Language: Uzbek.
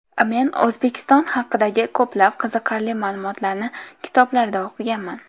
Men O‘zbekiston haqidagi ko‘plab qiziqarli ma’lumotlarni kitoblarda o‘qiganman.